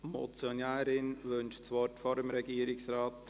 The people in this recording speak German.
Die Motionärin wünscht das Wort vor dem Regierungsrat.